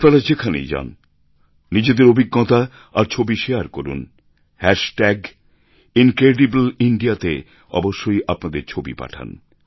আপনারা যেখানেই যান নিজেদের অভিজ্ঞতা আর ছবি শেয়ার করুন হ্যাশ ট্যাগ ইনক্রেডিবল ইন্দিয়া তে অবশ্যই আপনাদের ছবি পাঠান